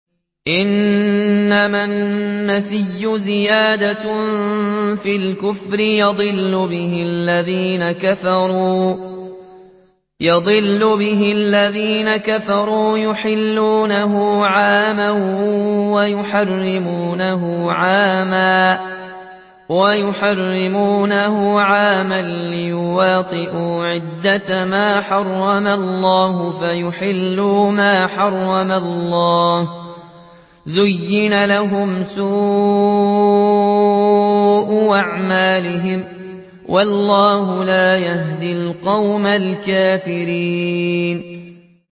إِنَّمَا النَّسِيءُ زِيَادَةٌ فِي الْكُفْرِ ۖ يُضَلُّ بِهِ الَّذِينَ كَفَرُوا يُحِلُّونَهُ عَامًا وَيُحَرِّمُونَهُ عَامًا لِّيُوَاطِئُوا عِدَّةَ مَا حَرَّمَ اللَّهُ فَيُحِلُّوا مَا حَرَّمَ اللَّهُ ۚ زُيِّنَ لَهُمْ سُوءُ أَعْمَالِهِمْ ۗ وَاللَّهُ لَا يَهْدِي الْقَوْمَ الْكَافِرِينَ